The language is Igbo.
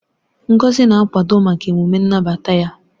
Ngozi na-akwado maka emume nnabata ya.